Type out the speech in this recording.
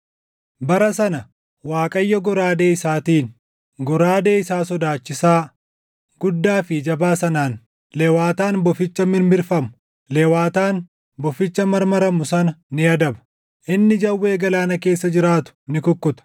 Bara sana, Waaqayyo goraadee isaatiin, goraadee isaa sodaachisaa, guddaa fi jabaa sanaan, Lewaataan boficha mirmirfamu, Lewaataan boficha marmaramu sana ni adaba; inni jawwee galaana keessa jiraatu ni kukkuta.